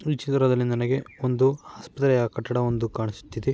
ಈ ಚಿತ್ರದಲ್ಲಿ ನನಗೆ ಒಂದು ಆಸ್ಪತ್ರೆಯ ಕಟ್ಟಡವೊಂದು ಕಾಣಿಸುತ್ತಿದೆ.